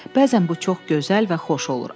Bəzən bu çox gözəl və xoş olur.